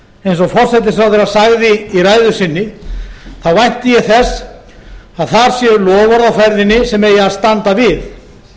eins og forsætisráðherra sagði í ræðu sinni þá vænti ég þess að þar séu loforð á ferðinni sem eigi að standa við